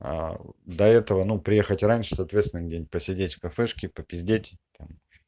до этого ну приехать раньше соответственно где-нибудь посидеть в кафешке попиздеть там